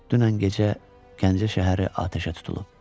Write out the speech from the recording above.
Dünən gecə Gəncə şəhəri atəşə tutulub.